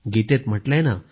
गीतेत म्हटलं आहे